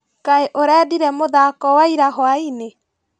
Kaĩ ũrendire mũthako wa ira hwainĩ?